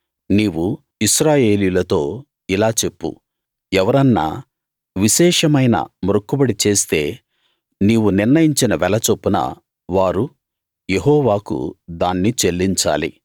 నీవు ఇశ్రాయేలీయులతో ఇలా చెప్పు ఎవరన్నా విశేషమైన మ్రొక్కుబడి చేస్తే నీవు నిర్ణయించిన వెల చొప్పున వారు యెహోవాకు దాన్ని చెల్లించాలి